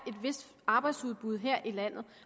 vist arbejdsudbud her i landet